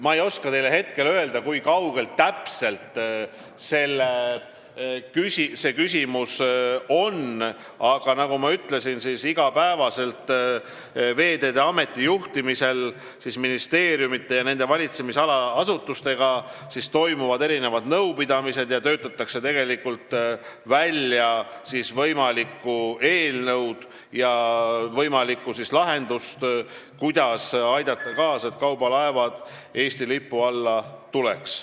Ma ei oska teile hetkel öelda, kui kaugel täpselt see küsimus on, aga nagu ma ütlesin, iga päev Veeteede Ameti juhtimisel toimuvad ministeeriumide ja nende valitsemisala asutuste nõupidamised ning töötatakse välja eelnõu ja võimalikku lahendust, kuidas aidata kaasa, et kaubalaevad Eesti lipu alla tuleksid.